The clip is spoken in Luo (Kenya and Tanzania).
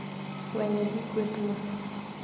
Fwenyo, gi kwethno,